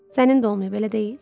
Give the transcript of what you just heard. Sənin də olmayıb, elə deyil?